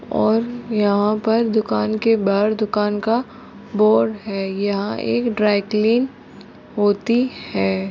और यहाँ पर दुकान के बाहर दुकान का बोर्ड है यहाँ एक ड्राई कलीन होती है।